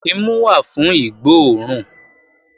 Imu wà fún ìgbó òórùn